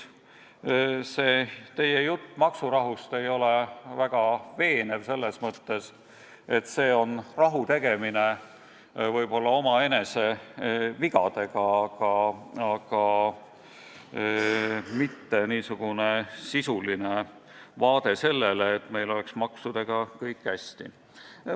Seega teie jutt maksurahust ei ole väga veenev, just selles mõttes, et see on rahu tegemine võib-olla omaenese vigadega, mitte sisuline lähenemine eesmärgile, et meil oleks maksudega kõik hästi.